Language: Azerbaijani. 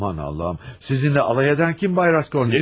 Aman Allahım! Sizinlə alay edən kim, Bay Raskolnikov?